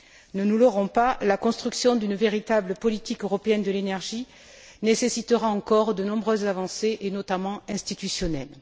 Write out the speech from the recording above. Ne nous leurrons pas, la construction d'une véritable politique européenne de l'énergie nécessitera encore de nombreuses avancées, et notamment institutionnelles.